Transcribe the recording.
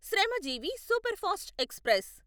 Shramjeevi superfast express